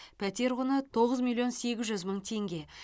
пәтер құны тоғыз миллион сегіз жүз мың теңге